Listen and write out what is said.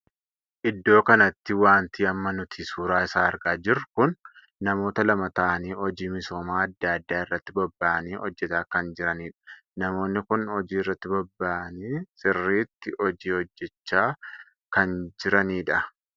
Iddoo kanatti wanti amma nuti suuraa isaa argaa jirru kun namoota lama taa'anii hojii misooma addaa addaa irratti bobbaa'anii hojjetaa kan jiranidha. namoonni kun hojii irratti bobbaa'anii sirriitti hojii hojjechaa kan jiranidha.